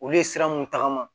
Olu ye sira mun tagama